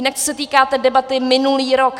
Jinak co se týká té debaty minulý rok.